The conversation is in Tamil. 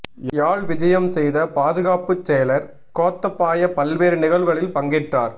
யாழ் விஜயம் செய்த பாதுகாப்புச் செயலர் கோத்தபாய பல்வேறு நிகழ்வுகளில் பங்கேற்றார்